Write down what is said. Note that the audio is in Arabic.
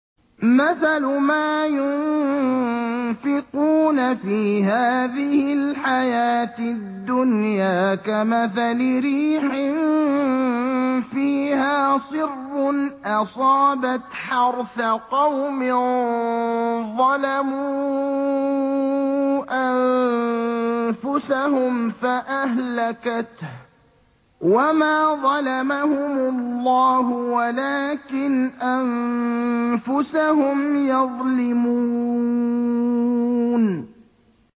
مَثَلُ مَا يُنفِقُونَ فِي هَٰذِهِ الْحَيَاةِ الدُّنْيَا كَمَثَلِ رِيحٍ فِيهَا صِرٌّ أَصَابَتْ حَرْثَ قَوْمٍ ظَلَمُوا أَنفُسَهُمْ فَأَهْلَكَتْهُ ۚ وَمَا ظَلَمَهُمُ اللَّهُ وَلَٰكِنْ أَنفُسَهُمْ يَظْلِمُونَ